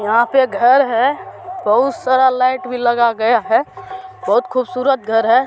यहाँ पे घर है बहुत-सारा लाइट भी लगा गया है बहुत खूबसूरत घर है।